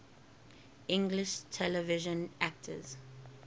english television actors